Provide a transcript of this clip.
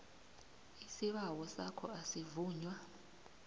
isibawo sakho asivunywa